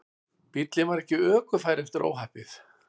Bíllinn var ekki ökufær eftir óhappið